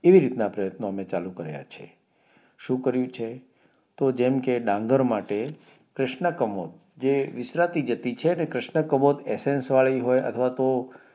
એવી રીતના પ્રયત્નો અમે ચાલુ કાર્ય છે શું કર્યું છે તો જેમ કે જંગર માટે ક્રિષ્નકમોત જે મિશ્રતી જતી છે કે ક્રિષ્નકમોત એસેન્સ વળી હોય અથવા તો